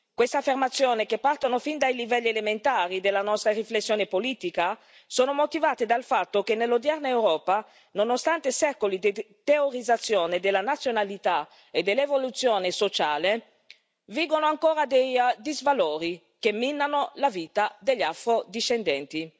Queste affermazioni, che partono fin dai livelli elementari della nostra riflessione politica, sono motivate dal fatto che nell'odierna Europa, nonostante secoli di teorizzazione della razionalità e dell'evoluzione sociale, vigono ancora dei disvalori, che minano la vita degli afro discendenti.